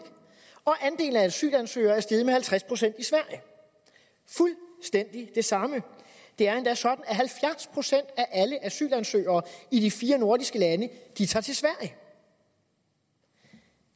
og at andelen af asylansøgere er steget med halvtreds procent i sverige det samme det er endda sådan at halvfjerds procent af alle asylansøgere i de fire nordiske lande tager til sverige